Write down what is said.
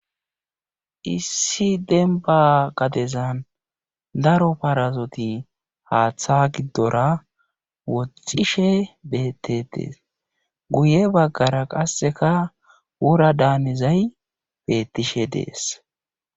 issi denba gadezan daro parazoti haaththa giddora woxishe bettetees guye baggara qasseka wura daanizay bettishe dees